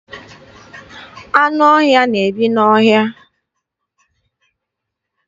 Anụ ọhịa na-ebi n'ọhịa.